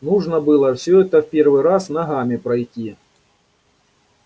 нужно было все это в первый раз ногами пройти